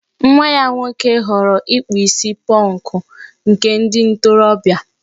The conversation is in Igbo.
Nwa ya nwoke ghọọrọ ịkpụ isi pọnkụ, nke ndị ntorobịa